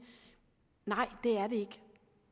nej det er det ikke